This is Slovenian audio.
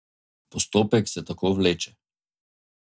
Postopek se tako vleče.